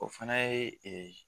O fana ye